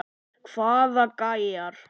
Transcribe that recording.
Hvaða gæjar?